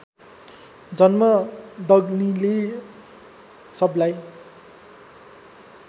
जमदग्निले सबलाई